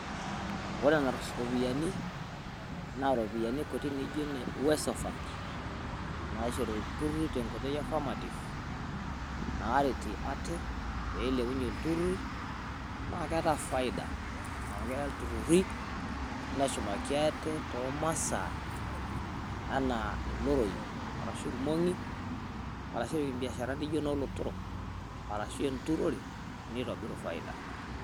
Wore enarus ropiyiani naaijio ne uwezo fund naishori iltururi tenkoitoi e affirmative peretie ate peilepunyiee iltururi naa keta faida amu keya iltururi neshumaki aate tomasa enaa iloroi arashu ilmong'i arashu epiik imbiasharani naijioo enolotorok arashu enturore nitobiru faida